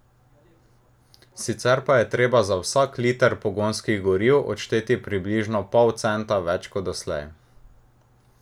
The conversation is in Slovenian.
Sicer pa je treba za vsak liter pogonskih goriv odšteti približno pol centa več kot doslej.